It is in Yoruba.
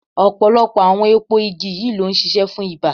Ọ̀pọ̀lọpọ̀ àwọn èpo igi yìí ló ń ṣiṣẹ́ fún ibà.